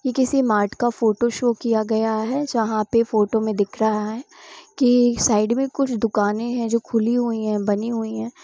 ये किसी मार्ट का फोटो शो किया गया है जहा पे फोटो में दिख रहा है कि साइड में कुछ दुकाने हैं जो खुली हुई है और बनी हुई है।